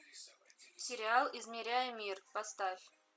сериал измеряя мир поставь